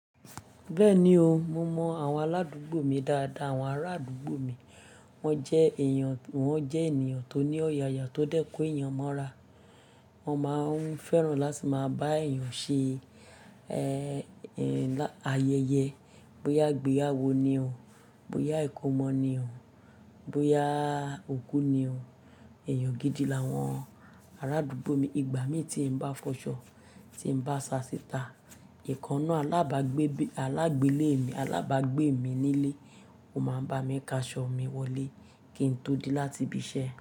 Bẹ́ẹ̀ni o, mo mọ àwọn aládùúgbò mi dáadáa. Àwọn ará àdúgbò mi wọ́n jẹ́ èèyàn, wọ́n jẹ́ ènìyàn tó ní ọ̀yàyà tó dẹ́ko èèyàn mọ́ra. Wọ́n máa ń fẹ́ràn láti máa bá èèyàn ṣe, ayẹyẹ. Bóyá ìgbéyàwó ni o, bóyá ìkómọ ni o, bóyà òkú ni o. Ẹ̀yàn gidi làwọn ará àdúgbò mi. Ìgbà mi tí ń bá fọṣọ, tí ń bá ṣàsítà, ìkannú alábàágbé, alágbele mi, alábàágbé mi nílé, ó máa ń bá mi ka aṣọ mi wọlé kí n tó dé láti ibi iṣẹ́.